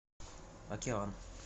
океан